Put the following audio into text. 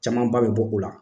Caman ba bɛ bɔ o la.